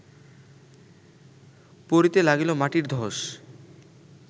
পড়িতে লাগিল মাটির ধ্বস